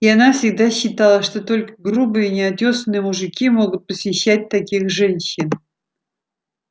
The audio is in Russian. и она всегда считала что только грубые неотёсанные мужики могут посещать таких женщин